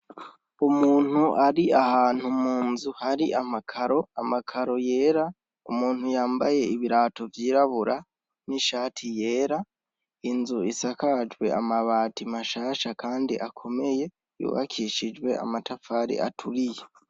Umuntu ari ahantu munzu hari amakaro ,amakaro yera, umuntu yambaye ibirato vyirabura, n'ishati yera, inzu isakajwe amabati mashasha kandi akomeye ,yubakishijwe amatafari aturiye.